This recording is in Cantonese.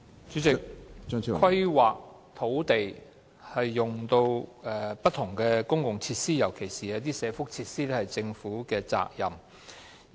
主席，規劃土地供不同的公共設施使用，是政府的責任。